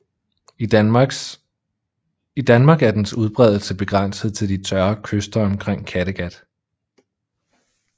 I Danmark er dens udbredelse begrænset til de tørre kyster omkring Kattegat